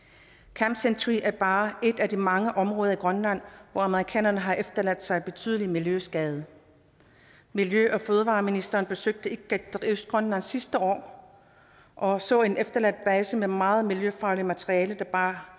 camp century er bare et af de mange områder i grønland hvor amerikanerne har efterladt sig en betydelig miljøskade miljø og fødevareministeren besøgte ikateq i østgrønland sidste år og så en efterladt base med meget miljøfarligt materiale der bare